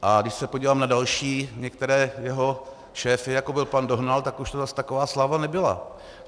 A když se podívám na další některé jeho šéfy, jako byl pan Dohnal, tak už to zase taková sláva nebyla.